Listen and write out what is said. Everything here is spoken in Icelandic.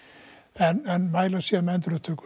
en mæla síðan með endurupptöku